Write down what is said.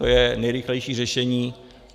To je nejrychlejší řešení.